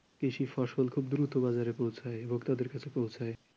কৃষি ফসল খুব দ্রুত বাজারে পৌঁছায় ভোক্তাদের কাছে পৌঁছায় ।